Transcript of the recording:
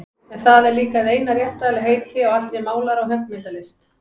En það er líka hið eina rétta heiti á allri málara- og höggmyndalist.